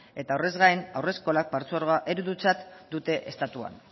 eta horrez gain haurreskolak partzuergoa eredutzat dute estatuan